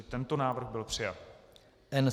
I tento návrh byl přijat.